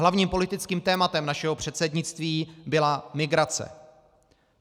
Hlavním politickým tématem našeho předsednictví byla migrace.